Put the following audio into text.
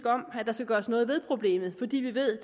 om at der skal gøres noget ved problemet fordi vi ved